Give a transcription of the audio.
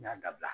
N y'a dabila